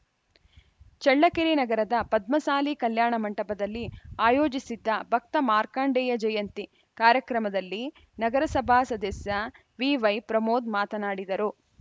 ಚಳ್ಳಕೆರೆ ನಗರದ ಪದ್ಮಸಾಲಿ ಕಲ್ಯಾಣ ಮಂಟಪದಲ್ಲಿ ಆಯೋಜಿಸಿದ್ದ ಭಕ್ತ ಮಾರ್ಕಂಡೇಯ ಜಯಂತಿ ಕಾರ್ಯಕ್ರಮದಲ್ಲಿ ನಗರಸಭಾ ಸದಸ್ಯ ವಿವೈಪ್ರಮೋದ್‌ ಮಾತನಾಡಿದರು